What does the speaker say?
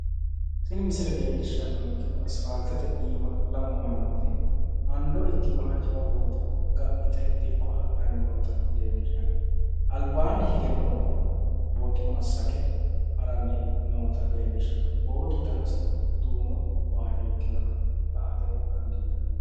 Tini misile leellishshannonkehu asipaaltete iima lamu mannooti hando ikkinoha jawa booto ga'nite dikko hadhanni noota leellishshanno, albaanni hige noohu booto massage ha'ranni nootta leellishshanno, bootu danasino duumo waajjo ikkinoha la'ate dandiinanni.